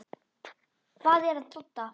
Hvað er að Dodda?